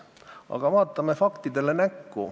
Aga vaatame fakte.